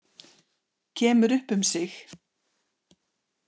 Kemur upp um sig.